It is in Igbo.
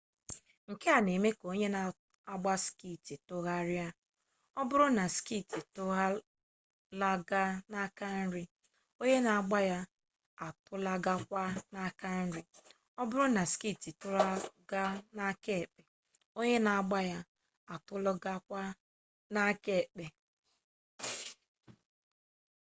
nke a na-eme ka onye na-agba skeeti tụgharịa ọ bụrụ na skeeti atụlaga n'aka nri onye na-agba ya atụlagakwa n'aka nri ọ bụrụ na skeeti atụlaga n'aka ekpe onye na-agba ya atụlagakwa n'aka ekpe